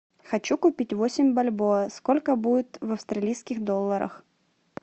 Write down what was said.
хочу купить восемь бальбоа сколько будет в австралийских долларах